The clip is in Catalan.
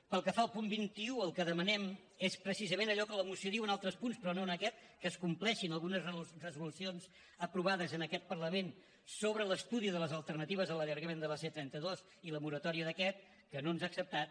pel que fa al punt vint un el que demanem és precisament allò que la moció diu en altres punts però no en aquest que es compleixin algunes resolucions aprovades en aquest parlament sobre l’estudi de les alternatives a l’allargament de la c trenta dos i la moratòria d’aquest que no ens ha acceptat